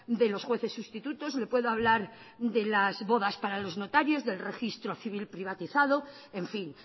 de los jueces sustitutos le puedo hablar de las bodas para los notarios del registro civil privatizado en fin